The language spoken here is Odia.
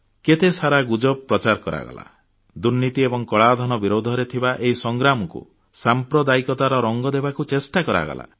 କେତେ ସାରା ଗୁଜବ ପ୍ରଚାର କରାଗଲା ଦୁର୍ନୀତି ଏବଂ କଳାଧନ ବିରୁଦ୍ଧରେ ଥିବା ଏହି ସଂଗ୍ରାମକୁ ସାମ୍ପ୍ରଦାୟିକତାର ରଙ୍ଗ ଦେବାକୁ ଚେଷ୍ଟା କରାଗଲା